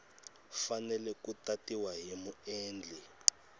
fanele ku tatiwa hi muendli